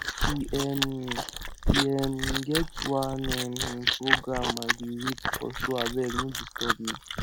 e um e um get one um program i dey wait for so abeg no disturb me